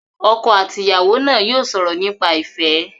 Ọkọ àti ìyàwó náà yóò sọ̀rọ̀ nípa ìfẹ́.